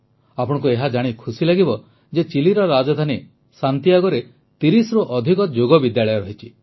ଆପଣଙ୍କୁ ଏହା ଜାଣି ଖୁସି ଲାଗିବ ଯେ ଚିଲିର ରାଜଧାନୀ ସାଂଟିଆଗୋରେ 30ରୁ ଅଧିକ ଯୋଗ ବିଦ୍ୟାଳୟ ରହିଛି